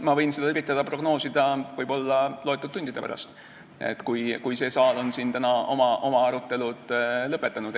Ma võin seda üritada prognoosida võib-olla paari tunni pärast, kui see saal on siin oma arutelu lõpetanud.